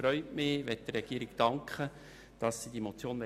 Ich freue mich darüber und möchte der Regierung dafür danken.